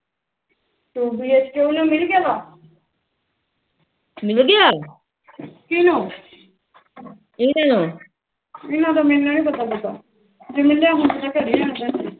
ਇਹਨਾ ਦਾ ਮੈਨੂੰ ਨੀ ਪਤਾ ਪੁਤਾ ਜੇ ਮਿਲਿਆ ਹੁੰਦਾ ਘਰੇ ਬਿਹਨਾ